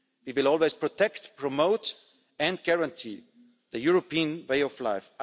We will always protect, promote and guarantee the European way of life.